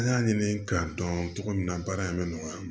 An y'a ɲini k'a dɔn cogo min na baara in bɛ nɔgɔya